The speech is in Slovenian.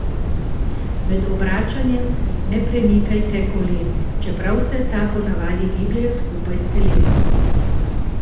Med obračanjem ne premikajte kolen, čeprav se ta po navadi gibljejo skupaj s telesom.